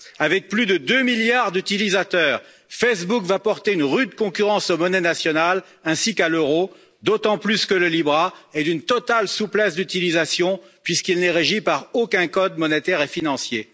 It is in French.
Avec plus de 2 milliards d'utilisateurs, Facebook va porter une rude concurrence aux monnaies nationales, ainsi qu'à l'euro d'autant plus que le libra est d'une totale souplesse d'utilisation puisqu'il n'est régi par aucun code monétaire et financier.